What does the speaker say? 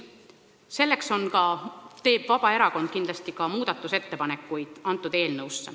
Selleks teeb Vabaerakond kindlasti eelnõu muutmiseks oma ettepanekud.